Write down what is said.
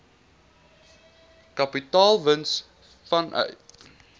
kapitaalwins verkry vanuit